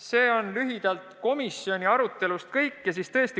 See on lühidalt komisjoni arutelust kõik.